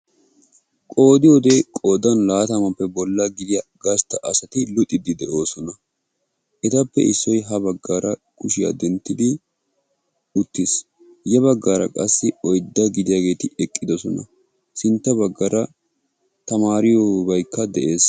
Qoodiyodde qoodan laatamappe dariya gastta asatti luxosonna. Ettappe issoy uttiis hankkotti eqqidosonna.